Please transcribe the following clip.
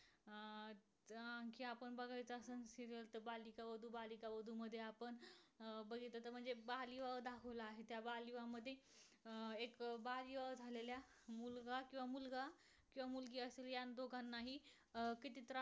अं बघितल तर म्हणजे बाल विवाह दाखवला आहे. त्या बालविवाह मध्ये एक बालविवाह झालेल्या मुलगा किंवा मुलगा किंवा मुलगी अस या दोघांना हि किती त्रास